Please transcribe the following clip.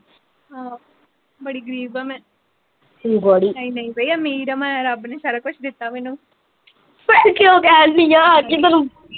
ਹਾ ਆ ਬੜੀ ਗ਼ਰੀਬ ਆ ਮੈ ਹਮ ਬੜੀ ਨਾਈ ਨਾਈ ਬਾਈ ਅਮੀਰ ਆ ਮੈ ਰਾਬ ਨੇ ਸਾਰਾ ਕੁਛ ਦਿੱਤਾ ਮੈਨੂੰ ਫਿਰ ਕਿਓਂ ਕਹਿਣ ਡੀ ਆ ਕਿ ਮੈਨੂੰ,